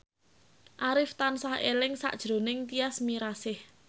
Arif tansah eling sakjroning Tyas Mirasih